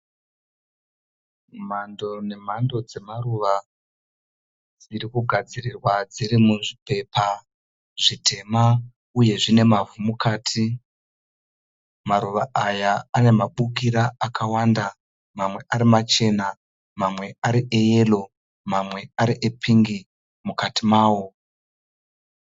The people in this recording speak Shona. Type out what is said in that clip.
Mhando nemhando dzemaruva dzirikugadzirirwa dziri muzvi pepa zvitema, uye zvine mavhu mukati. Maruva aya ane mabukira akawanda, mamwe ari machena ,mamwe ari e yero, mamwe ari e pingi mukati mawo .